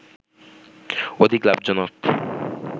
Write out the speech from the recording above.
অধিক লাভজনক